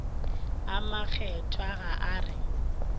a makgethwa ga a re